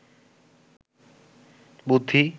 বুদ্ধি